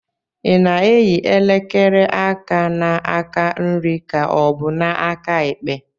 Ị na-eyi elekere aka na-aka nri ka ọ bụ na-aka ekpe?